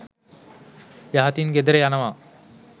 යහතින් ගෙදර යනවා.